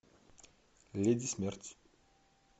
леди смерть